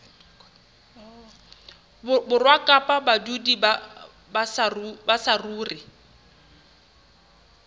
borwa kapa badudi ba saruri